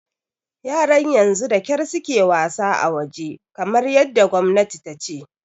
Yaran yanzu da kyar su ke wasa a waje, kamar yadda gwamnati ta ce.